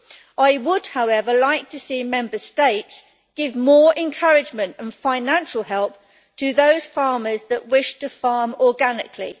I would, however, like to see Member States give more encouragement and financial help to those farmers that wish to farm organically.